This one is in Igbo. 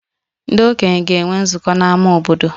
Ndị okenye ga-enwe nzukọ n'ámá obodo